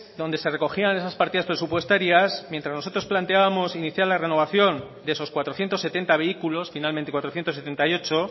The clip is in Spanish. donde se recogían esas partidas presupuestarias mientras nosotros planteábamos iniciar la renovación de esos cuatrocientos setenta vehículos finalmente cuatrocientos setenta y ocho